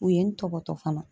U ye n tɔbɔtɔ fana.